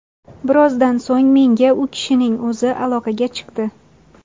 Birozdan so‘ng menga u kishining o‘zi aloqaga chiqdi.